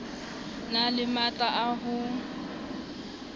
na le matla a ho